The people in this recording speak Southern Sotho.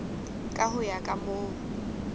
ka ho ya ka moo